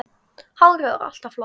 Hárið var alltaf flott.